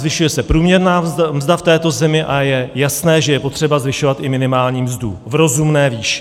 Zvyšuje se průměrná mzda v této zemi a je jasné, že je potřeba zvyšovat i minimální mzdu v rozumné výši.